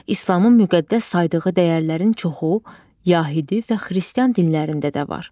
İslamın müqəddəs saydığı dəyərlərin çoxu Yəhudi və Xristian dinlərində də var.